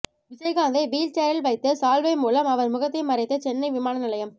விஜயகாந்தை wheel சேரில் வைத்து சால்வை மூலம் அவர் முகத்தை மறைத்து சென்னை விமான நிலையம்